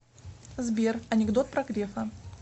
сбер анекдот про грефа